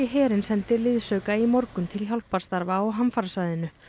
herinn sendi liðsauka í morgun til hjálparstarfa á hamfarasvæðinu